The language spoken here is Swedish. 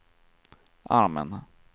armen